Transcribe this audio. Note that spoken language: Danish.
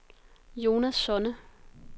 Jonas Sonne